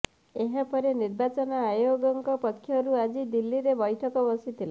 ଏହାପରେ ନିର୍ବାଚନ ଆୟୋଗଙ୍କ ପକ୍ଷରୁ ଆଜି ଦିଲ୍ଲୀରେ ବୈଠକ ବସିଥିଲା